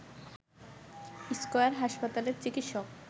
square হাসপাতালের চিকিৎসক